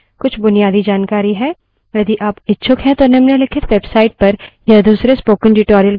यदि आप इच्छुक हैं तो निम्नलिखित website पर यह दूसरे spoken tutorial के माध्यम से उपलब्ध है